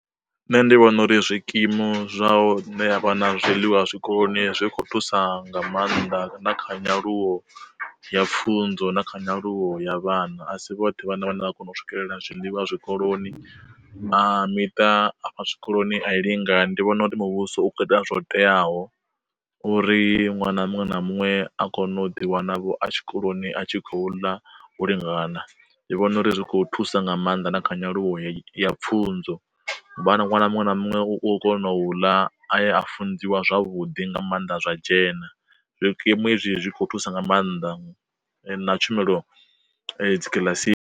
Nṋe ndi vhona uri zwikimu zwa u nea zwiḽiwa zwikoloni zwi kho thusa nga maanḓa na kha nyaluwo ya pfunzo na kha nyaluwo ya vhana, asi vhoṱhe vha na vhana vha kona u swikelela zwiḽiwa zwikoloni na miṱa a fha zwikoloni a i lingani. Ndi vhona uri muvhuso u kho ita zwo teaho, uri ṅwana muṅwe na muṅwe a kone u ḓiwana vho a tshikoloni a tshi khou ḽa u lingana ndi vhona uri ri kho thusa nga maanḓa na kha nyaluwo ya pfunzo vha na ṅwana muṅwe na muṅwe u kona u ḽa a ya a funziwa zwavhuḓi nga maanḓa zwa dzhena, zwikimu hezwi zwi kho thusa nga maanḓa na tshumelo dzikiḽasini.